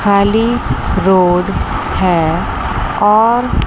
खाली रोड है और--